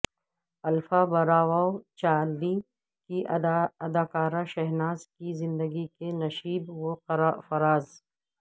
alpha Bravo Charlie کی اداکارہ شہناز کی زندگی کے نشیب و فراز